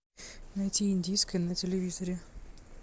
найти индийское на телевизоре